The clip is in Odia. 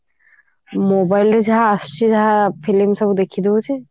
mobile ରେ ଯାହା ଆସୁଛି ଯାହା film ସବୁ ଦେଖି ଦଉଛି